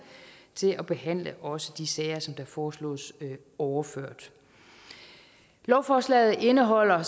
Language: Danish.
til at behandle også de sager som der foreslås overført lovforslaget indeholder